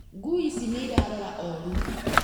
Ngui ici nĩ irarora orũ